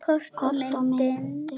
Kort og myndir